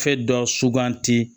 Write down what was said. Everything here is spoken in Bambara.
Fɛn dɔ suganti